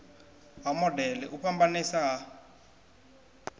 ha modele u fhambanesa ha